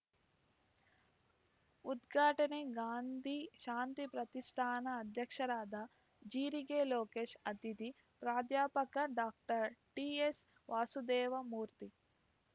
ಉದ್ಘಾಟನೆ ಗಾಂಧಿ ಶಾಂತಿ ಪ್ರತಿಷ್ಠಾನ ಅಧ್ಯಕ್ಷರಾದ ಜೀರಿಗೆ ಲೋಕೇಶ್‌ ಅತಿಥಿ ಪ್ರಾಧ್ಯಾಪಕ ಡಾಕ್ಟರ್ ಟಿಎಸ್‌ವಾಸುದೇವ ಮೂರ್ತಿ